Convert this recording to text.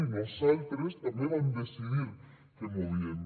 i nosaltres també vam decidir que movíem